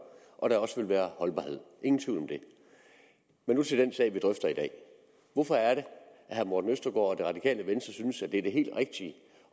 og at der også vil være holdbarhed ingen tvivl om det men nu til den sag vi drøfter i dag hvorfor er det at herre morten østergaard og det radikale venstre synes at det er det helt rigtige